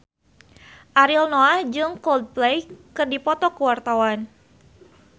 Ariel Noah jeung Coldplay keur dipoto ku wartawan